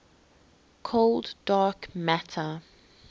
cold dark matter